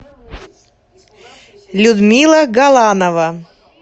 людмила галанова